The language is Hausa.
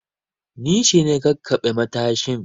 Ni ce na kakkaɓe matashin